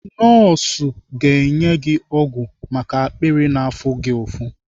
Nọọsụ ga-enye gị ọgwụ maka akpịrị na-afụ gị ụfụ.